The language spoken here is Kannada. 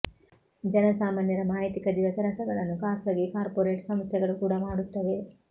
ಜನಸಾಮಾನ್ಯರ ಮಾಹಿತಿ ಕದಿಯುವ ಕೆಲಸಗಳನ್ನು ಖಾಸಗಿ ಕಾರ್ಫೊರೇಟ್ ಸಂಸ್ಥೆಗಳು ಕೂಡ ಮಾಡುತ್ತವೆ